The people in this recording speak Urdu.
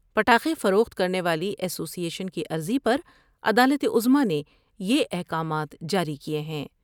پٹائے فروخت کرنے والی اسوی ایشن کی عرضی پر عدالت عظمی نے یہ احکامات جاری کئے ہیں ۔